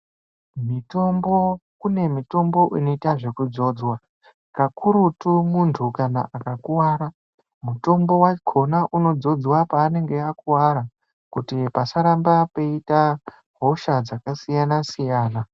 Mitombo kune mitombo inoitwa zvekudzodzwaka, kakurutu muntu akakuwara mutombo wakhona unodzodzwa panenge akuwara kuti pasaramba peiita hosha dzakasiyana-siyana.